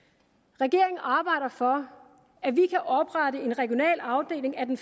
regeringen arbejder for at vi kan oprette en regional afdeling af den